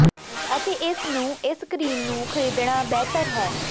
ਅਤੇ ਇਸ ਨੂੰ ਇਸ ਕਰੀਮ ਨੂੰ ਖਰੀਦਣ ਨਾ ਬਿਹਤਰ ਹੈ